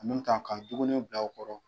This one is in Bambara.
Nu ta ka dumuniw bila u kɔrɔ